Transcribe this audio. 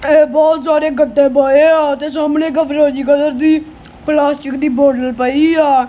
ਬਹੁਤ ਸਾਰੇ ਗੱਟੇ ਪਏ ਆ ਤੇ ਸਾਹਮਣੇ ਫਰੋਜੀ ਕਲਰ ਦੀ ਪਲਾਸਟਿਕ ਦੀ ਬੋਤਲ ਪਈ ਆ।